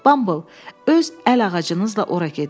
Bamble, öz əl ağacınızla ora gedin.